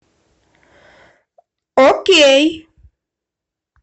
окей